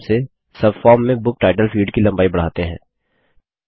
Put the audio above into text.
उसी प्रकार से सबफॉर्म में बुक टाइटल फील्ड की लम्बाई बढ़ाते हैं